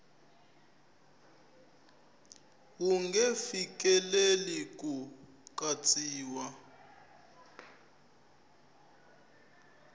wu nge fikeleli ku katsiwa